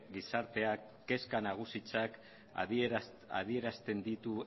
gizarteak kezka nagusitzat adierazten ditu